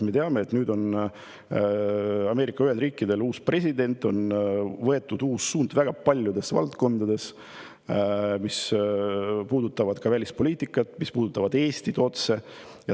Me teame, et nüüd on Ameerika Ühendriikidel uus president, on võetud uus suund väga paljudes valdkondades, mis puudutavad välispoliitikat ja ka otse Eestit.